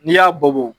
N'i y'a bɔ bo